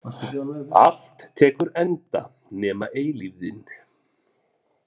Allt tekur enda nema eilífðin.